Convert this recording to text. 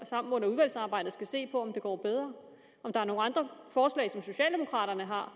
sammen under udvalgsarbejdet skal se på om det går bedre om socialdemokraterne har